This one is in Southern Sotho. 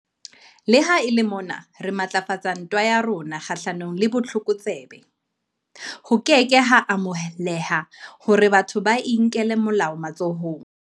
Le ha e le mona re matlafatsa ntwa ya rona kgahlano le botlokotsebe, ho ke ke ha amoheleha hore batho ba inkele molao matsohong.